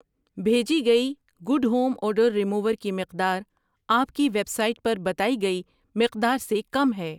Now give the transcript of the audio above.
بھیجی گئی good home odour remover کی مقدار آپ کی ویب سائٹ پر بتائی گئی مقدار سے کم ہے۔